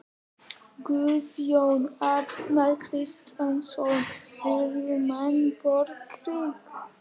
Guðjón Arnar Kristjánsson: Vilja menn borgríki?